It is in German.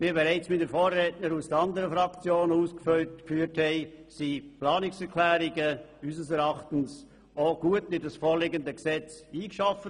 Wie bereits meine Vorredner aus den anderen Fraktionen ausgeführt haben, wurden die Planungserklärungen gut in das vorliegende Gesetz eingearbeitet.